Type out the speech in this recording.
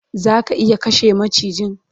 Zaka iya kashe macijin?